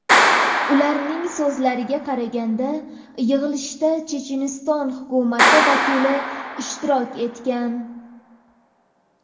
Ularning so‘zlariga qaraganda, yig‘ilishda Checheniston hukumati vakili ishtirok etgan.